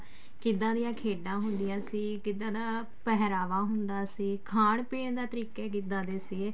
ਕਿੱਦਾਂ ਦੀਆਂ ਖੇਡਾਂ ਹੁੰਦੀਆਂ ਸੀ ਕਿੱਦਾਂ ਦਾ ਪਹਿਰਾਵਾ ਹੁੰਦਾ ਸੀ ਖਾਣ ਪੀਣ ਦੇ ਤਰੀਕੇ ਕਿੱਦਾਂ ਦੇ ਸੀਗੇ